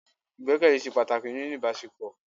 Ìgbẹ́kẹ̀lé se pàtàkì nínú ìbásepọ